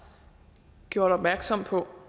gjort opmærksom på